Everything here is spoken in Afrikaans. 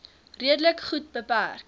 redelik goed beperk